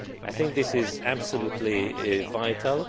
I think this is absolutely vital.